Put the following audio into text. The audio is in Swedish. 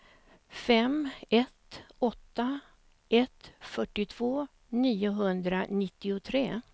fem ett åtta ett fyrtiotvå niohundranittiotre